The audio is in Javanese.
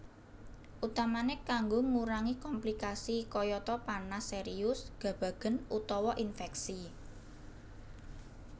Utamane kanggo ngurangi komplikasi kayata panas serius gabagen utawa infeksi